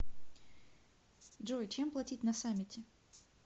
джой чем платить на самете